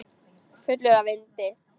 Fullur af vindi.